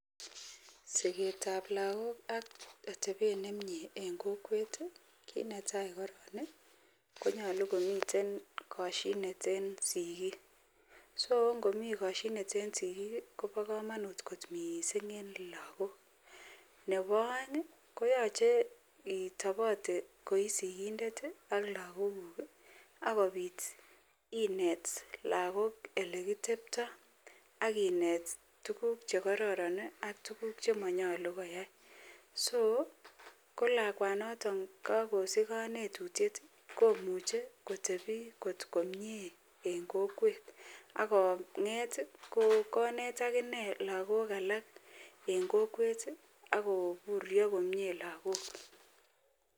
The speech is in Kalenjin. Siket ab lagok ak atebet nemie en kokwet kit netai korong konyalu komiten kashinet nekineten sikik so ngomii kashinet en sigik Koba kamanut kot mising en lagok Nebo aeng koyache itabate koisigindet ak lagok guk akobit inet lagok olekitebtoi akinet tuguk chekororon ak tuguk chemanyalu koyai so kolakwanoton akosich kanetotyet komuche kotebi kotkomie en kokwet ak konget konet akinei lagok alak en kokwet ago butio komie lagok